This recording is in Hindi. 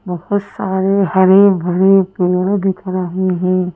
बहुत सारे हरे भरे पेड़ दिख रहे हैं।